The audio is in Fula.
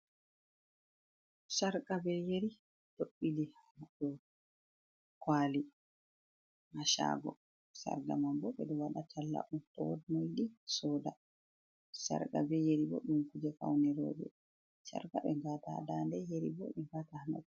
Sarqa be yeri ɗo ɓiili hadow kwali ha shago sarga man bo ɓeɗo waɗa talla on to wod moyiɗi soda, sarqa be yeri bo ɗum kuje faune roɓe sarqa be ngata ha dande yeri bo ɓe ngata ha noppi.